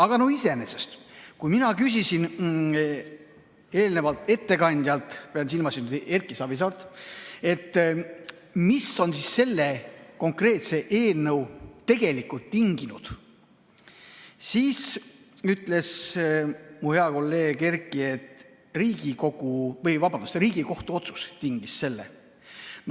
Aga iseenesest, kui ma küsisin eelnevalt ettekandjalt, pean silmas Erki Savisaart, et mis on selle eelnõu tegelikult tinginud, siis vastas mu hea kolleeg Erki, et Riigikohtu otsus tingis selle.